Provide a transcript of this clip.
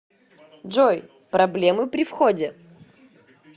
джой проблемы при входе